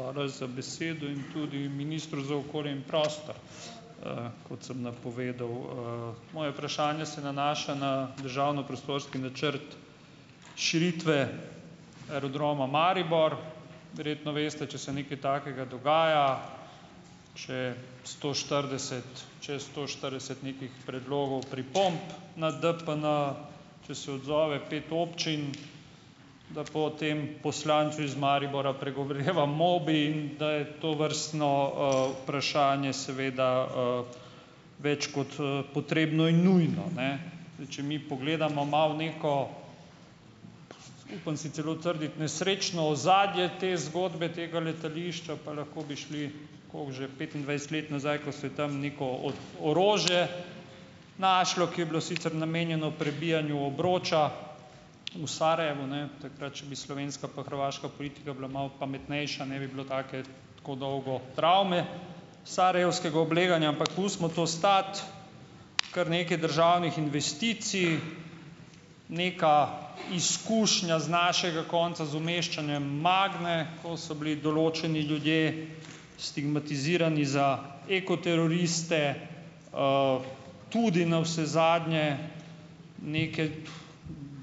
Hvala za besedo in tudi ministru za okolje in prostor, kot sem napovedal, Moje vprašanje se nanaša na državni prostorski načrt širitve Aerodroma Maribor. Verjetno veste, če se nekaj takega dogaja, če je sto štirideset, čez sto štirideset nekih predlogov, pripomb na DPN, če se odzove pet občin, da potem poslancu iz Maribora pregoreva mobi in da je tovrstno, vprašanje seveda, več kot, potrebno in nujno, ne. Zdaj, če mi pogledamo malo neko, upam si celo trditi, nesrečno ozadje te zgodbe, tega letališča, pa lahko bi šli koliko že petindvajset let nazaj, ko se je tam neko od orožje našlo, ki je bilo sicer namenjeno prebijanju obroča v Sarajevu, ne; takrat, če bi slovenska pa hrvaška politika bila malo pametnejša, ne bi bilo take tako dolgo travme sarajevskega obleganja. Ampak pustimo to stati. Kar nekaj državnih investicij, neka izkušnja z našega konca z umeščanjem Magme, ko so bili določeni ljudje stigmatizirani za ekoteroriste, tudi navsezadnje neke,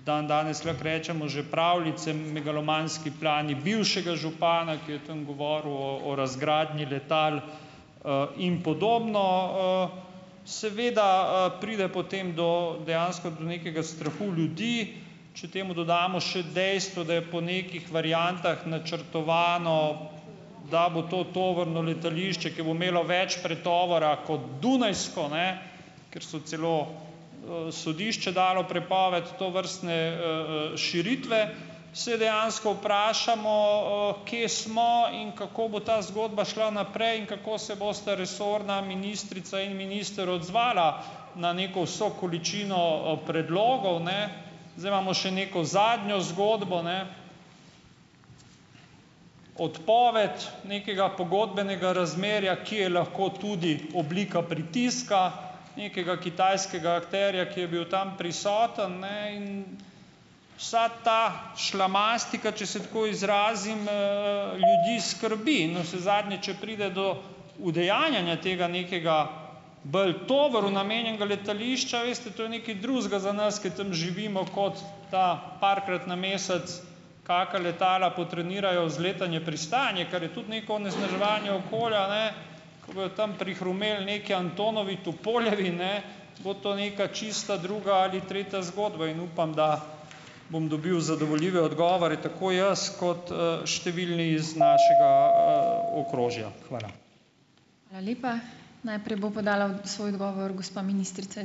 dandanes lahko rečemo, že pravljice, megalomanski plani bivšega župana, ki je tam govoril o o razgradnji letal, in podobno, Seveda, pride potem do dejansko do nekega strahu ljudi. Če temu dodamo še dejstvo, da je po nekih variantah načrtovano, da bo to tovorno letališče, ki bo imelo več pretovora kot dunajsko, ne, ker je celo, sodišče dalo prepoved tovrstne, širitve, se dejansko vprašamo, kje smo in kako bo ta zgodba šla naprej in kako se bosta resorna ministrica in minister odzvala na neko vso količino, predlogov, ne. Zdaj imamo še neko zadnjo zgodbo, ne, odpoved nekega pogodbenega razmerja, ki je lahko tudi oblika pritiska nekega kitajskega akterja, ki je bil tam prisoten, ne, in vsa ta šlamastika, če se tako izrazim, ljudi skrbi . In navsezadnje, če pride do udejanjanja tega nekega bolj tovoru namenjenega letališča, veste, to je nekaj drugega za nas, ki tam živimo, kot ta parkrat na mesec kaka letala potrenirajo za letanje, pristajanje, kar je tudi neko onesnaževanje okolja, ne. Ko bojo tam prihrumeli neki antonovi, tupoljevi, ne, bo to neka čisto druga ali tretja zgodba in upam, da bom dobil zadovoljive odgovore, tako jaz, kot, številni iz našega, okrožja . Hvala.